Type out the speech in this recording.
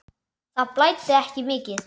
Það blæddi ekki mikið.